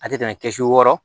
A tɛ tɛmɛ kɛsu wɔɔrɔ